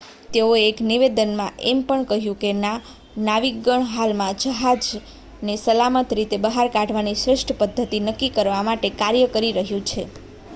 "તેઓએ એક નિવેદનમાં એમ પણ કહ્યું કે "નાવિકગણ હાલમાં જહાજને સલામત રીતે બહાર કાઢવાની શ્રેષ્ઠ પદ્ધતિ નક્કી કરવા માટે કાર્ય કરી રહ્યું છે"".